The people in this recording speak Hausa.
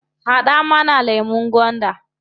Haɗa mana lemun gwanda.